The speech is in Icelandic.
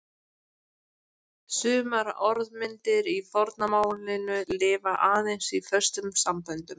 Sumar orðmyndir í forna málinu lifa aðeins í föstum samböndum.